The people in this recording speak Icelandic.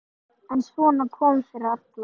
En svona kom fyrir alla.